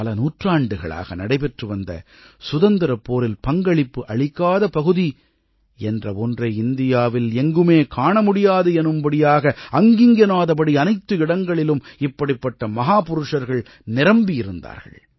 பல நூற்றாண்டுகளாக நடைபெற்று வந்த சுதந்திரப் போரில் பங்களிப்பு அளிக்காத பகுதி என்ற ஒன்றை இந்தியாவில் எங்குமே காணமுடியாது எனும்படியாக அங்கிங்கெனாதபடி அனைத்து இடங்களிலும் இப்படிப்பட்ட மஹா புருஷர்கள் நிரம்பியிருந்தார்கள்